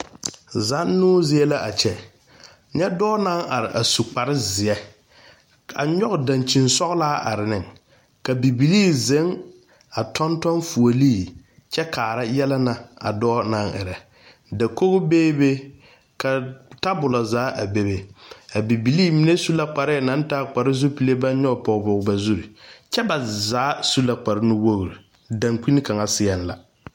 Zannoo zie la kyɛ, nyɛ dɔɔ naŋ are a su kpare zeɛ, nyoŋ dankyin soglaa are ne ka bibilii ziŋ tonton fuuli kyɛ kaa yɛlɛ na a dɔɔ naŋ erɛ, dakog beebe, ka tabɔlɔɔ a bebe, a bibilii mine su la kpɛre zopilee baŋ nyɔŋ pɔŋepɔŋe ba zo kyɛ ba zaa su la kpɛrɛ nu wogroo dakyine kaŋa seɛŋ la